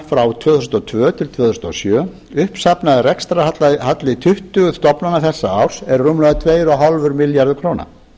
frá tvö þúsund og tvö til tvö þúsund og sjö uppsafnaður rekstrarhalli tuttugu stofnana þessa árs eru rúmlega tvö og hálfur milljarður króna